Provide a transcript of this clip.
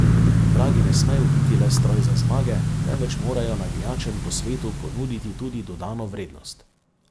Vragi ne smejo biti le stroj za zmage, temveč morajo navijačem po svetu ponuditi tudi dodano vrednost.